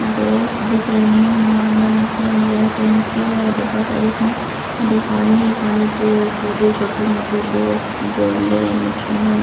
boss दिख रही हैं और अंदर मछलियाँ वगैरा कोई मछली वाला डब्बा शायद जिसमें अंदर पानी ही पानी पेड़ पौधे छोटे मोटे बोफ बॉलें मछलियाँ--